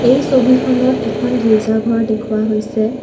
এই ছবিখনত এখন গীৰ্জা ঘৰ দেখুওৱা হৈছে।